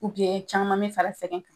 Ubiyɛn caman me fara sɛgɛn